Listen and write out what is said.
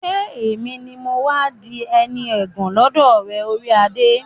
ṣé èmi ni mọ́ wá di ẹni ẹ̀gàn lọ́dọ̀ rẹ, orí adé?